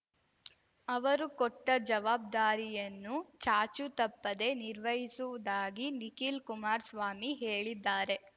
ಅವರು ಕೊಟ್ಟ ಜವಾಬ್ದಾರಿಯನ್ನು ಚಾಚೂ ತಪ್ಪದೆ ನಿರ್ವಹಿಸುವುದಾಗಿ ನಿಖಿಲ್ ಕುಮಾರ್ಸ್ವಾಮಿ ಹೇಳಿದ್ದಾರೆ